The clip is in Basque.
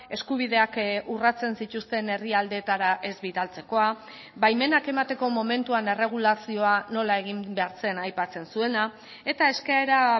eskubideak urratzen zituzten herrialdeetara ez bidaltzekoa baimenak emateko momentuan erregulazioa nola egin behar zen aipatzen zuena eta eskaera